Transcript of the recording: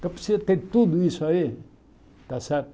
Então precisa ter tudo isso aí, está certo?